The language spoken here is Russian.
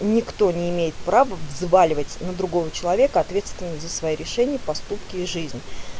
никто не имеет права взваливать на другого человека ответственность за свои решения поступки и жизнь